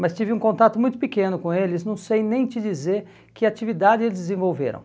Mas tive um contato muito pequeno com eles, não sei nem te dizer que atividade eles desenvolveram.